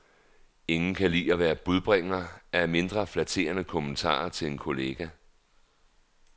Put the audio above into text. Ingen kan lide at være budbringer af mindre flatterende kommentarer til en kollega.